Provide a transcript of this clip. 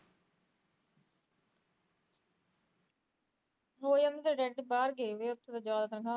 ਹੋ ਜਾਂਦੇ ਤੇਰੇ ਡੈਡੀ ਤਾ ਬਾਹਰ ਗਏਵੇ ਉਥੇ